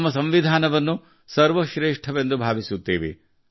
ನಮ್ಮ ಸಂವಿಧಾನವನ್ನು ಸರ್ವಶ್ರೇಷ್ಠವೆಂದು ಭಾವಿಸುತ್ತೇವೆ